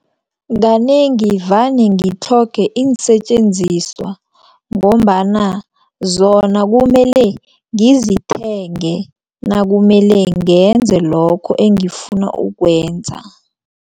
Kanengi vane ngitlhoge iinsetjenziswa ngombana zona kumele ngizithenge nakumele ngenze lokho engifuna ukwenza.